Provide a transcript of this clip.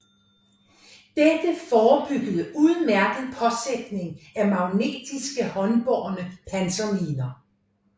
Dette forebyggede udmærket påsætning af magnetiske håndbårne panserminer